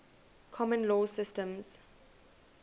common law systems